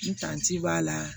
Ntanji b'a la